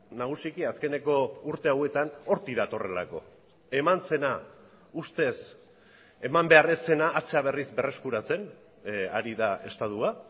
nagusiki azkeneko urte hauetan hortik datorrelako eman zena ustez eman behar ez zena atzera berriz berreskuratzen ari da estatua